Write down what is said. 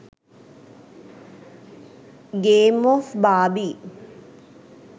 game of barbie